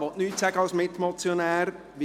er will als Mitmotionär nichts sagen.